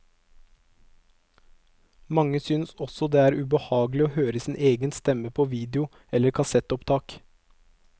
Mange synes også det er ubehagelig å høre sin egen stemme på video eller kassettopptak.